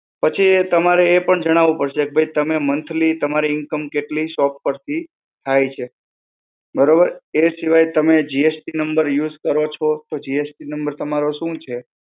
પછી એ તમારે એ પણ જણાવું પડશે, કે ભઈ, તમે monthly તમારી income કેટલી shop પરથી થાય છે, બરોબર? એ સિવાય તમે GST number use કરો છો, તો GST number તમારો શું છે?